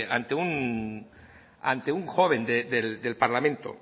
ante un joven del parlamento